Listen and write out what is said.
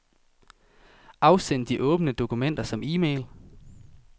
Afsend de åbne dokumenter som e-mail.